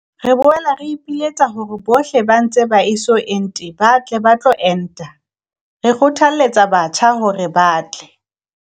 "Re boela re ipiletsa hore bohle ba ntse ba eso ente ba tle ba tlo enta. Re kgothalletsa batjha hore ba tle."